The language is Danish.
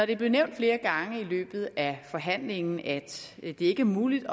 det blev nævnt flere gange i løbet af forhandlingen at det ikke er muligt